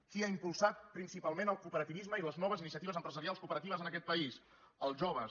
qui ha impulsat principalment el cooperativisme i les noves iniciatives empresarials cooperatives en aquest país els joves